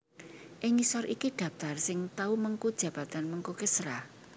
Ing ngisor iki dhaptar sing tau mengku jabatan Menko Kesra